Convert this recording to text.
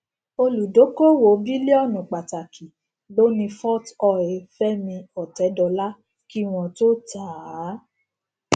olùdókòwò bílíònù pàtàkì ló ni forte oil fẹmi ọtẹdọlá kí wọn tó tà á